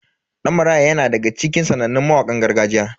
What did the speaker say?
Dan Maraya yana daga cikin sanannun mawakan gargajiya.